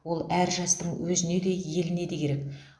ол әр жастың өзіне де еліне де керек